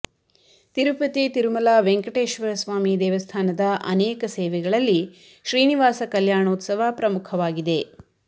ತಿರುಪತಿ ತಿರುಮಲ ವೆಂಕಟೇಶ್ವರ ಸ್ವಾಮಿ ದೇವಸ್ಥಾನದ ಅನೇಕ ಸೇವೆಗಳಲ್ಲಿ ಶ್ರೀನಿವಾಸ ಕಲ್ಯಾಣೋತ್ಸವ ಪ್ರಮುಖವಾಗಿದೆ